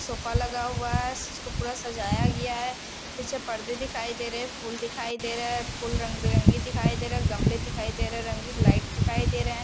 Sofa लगा हुआ है इसको पूरा सजाया गया है पीछे पर्दे दिखाई दे रहे हैं फूल दिखाई दे रहे हैं फूल रंग बिरंगे दिखाई दे रहे हैं गमले दिखाई दे रहे हैं रंगीन लाइट दिखाई दे रहे हैं।